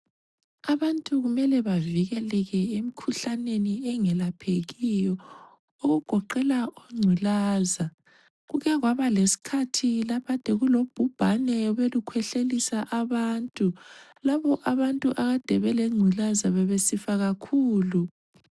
Abantu kumele bevikeleke emikhuhlaneni engelaphekiyo okugoqela ongculaza. Kuke kwabalesikhathi lapho okukade kulobhubhane obelukhwehlelisa abantu lapho abantu akade belengculaza bebesifa kakhulu.